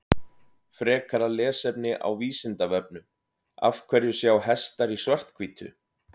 Frekara lesefni á Vísindavefnum Af hverju sjá hestar í svart-hvítu?